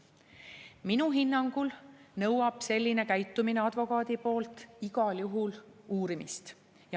Minu hinnangul nõuab advokaadi selline käitumine igal juhul uurimist.